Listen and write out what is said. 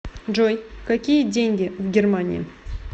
джой какие деньги в германии